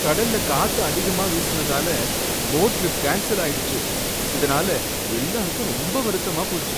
கடல்ல காத்து அதிகமா வீசுனதால போட் ட்ரிப் கேன்ஸல் ஆயிடுச்சு, இதனால எல்லாருக்கும் ரொம்ப வருத்தமா போச்சு